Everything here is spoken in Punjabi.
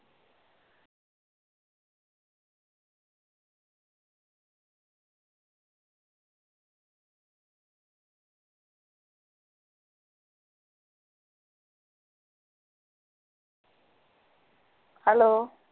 ਹੈੱਲੋ।